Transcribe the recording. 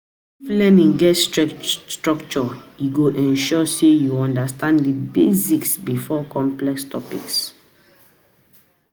If learning get structure e go ensure say you understand the basics before complex topics.